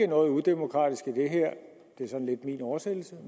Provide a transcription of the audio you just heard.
noget udemokratisk i det her det er sådan lidt min oversættelse